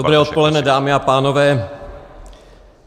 Dobré odpoledne, dámy a pánové.